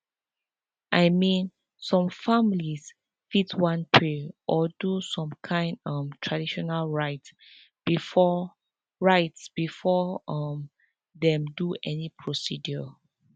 i mean some families fit wan pray or do some kind um traditional rites before rites before um dem do any procedure